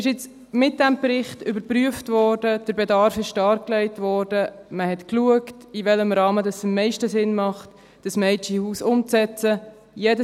– Mit diesem Bericht wurde überprüft, der Bedarf wurde dargelegt, man hat geschaut, in welchem Rahmen die Umsetzung des Mädchenhauses am meisten Sinn macht.